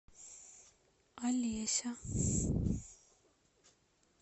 олеся